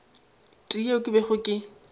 tee yeo ke bego ke